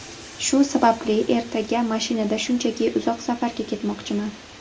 Shu sababli ertaga mashinada shunchaki uzoq safarga ketmoqchiman.